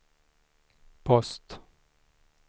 post